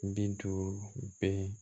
Bintu bɛ